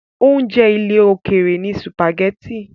Oúnjẹ ilẹ̀ òkèrè ni sùpàgẹ́tì.